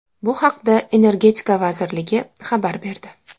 Bu haqda Energetika vazirligi xabar berdi .